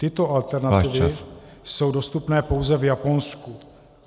Tyto alternativy jsou dostupné pouze v Japonsku.